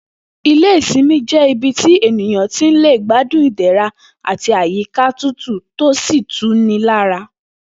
Ilé ìsimi jé̩ ibi tí ènìyàn ti lè gbádùn ìdè̩ra àti àyíkà tutù tó sì tu ni lára